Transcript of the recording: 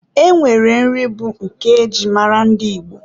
E nwere nri bụ nke e ji mara ndị Igbo.